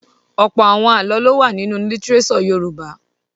Ọ̀pọ̀ àwọn àlọ́ ló wà nínú lítíréṣọ̀ Yorùbá.